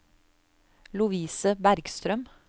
Lovise Bergstrøm